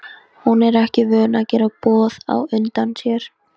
Hún er ekki vön að gera boð á undan sér.